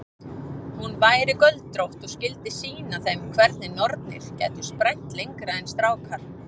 Hún væri göldrótt og skyldi sýna þeim hvernig nornir gætu sprænt lengra en strákar.